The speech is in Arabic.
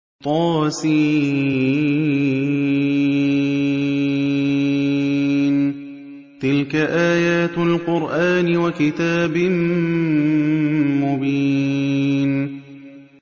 طس ۚ تِلْكَ آيَاتُ الْقُرْآنِ وَكِتَابٍ مُّبِينٍ